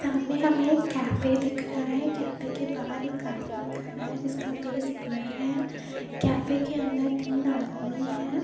सामने हमें एक कैफे दिख रहा है कैफे के बाहर एक आदमी खड़ा है जिसका फेस ब्लर है कैफे के अंदर तीन आदमी हैं।